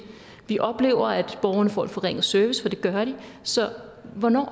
vi oplever at borgerne får en forringet service for det gør de så hvornår